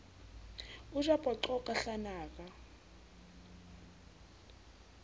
o ja poqo ka hlanaka